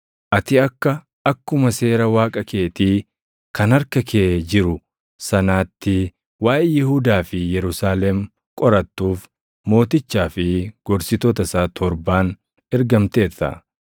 Ati akka akkuma Seera Waaqa keetii kan harka kee jiru sanaatti waaʼee Yihuudaa fi Yerusaalem qorattuuf mootichaa fi gorsitoota isaa torbaan ergamteerta.